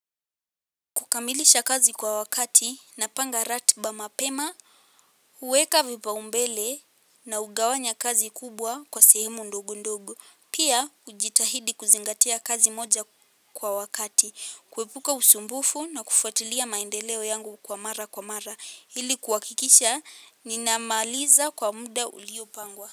Kukamilisha kazi kwa wakati na panga rati ba mapema, huweka vipa umbele na hugawanya kazi kubwa kwa sehemu ndogo ndogo. Pia hujitahidi kuzingatia kazi moja kwa wakati. Kuepuka usumbufu na kufuatilia maendeleo yangu kwa mara kwa mara. Ili kuha kikisha, ninamaliza kwa muda ulio pangwa.